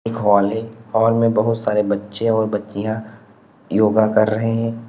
Hall है hall में बहुत सारे बच्चे और बच्चियां योगा कर रहे हैं।